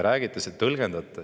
Te tõlgendate.